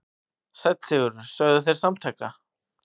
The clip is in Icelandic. Sæll Sigurður, sögðu þeir samtaka.